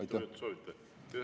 Mitu minutit soovite?